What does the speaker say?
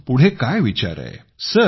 तर पुढे काय विचार आहे